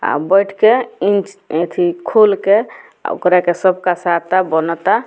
आ बइठ के इंच येथी खोल के ओकरा एकरा सब कसाता बनता।